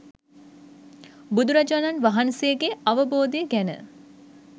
බුදුරජාණන් වහන්සේගේ අවබෝධය ගැන